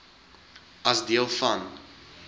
as deel van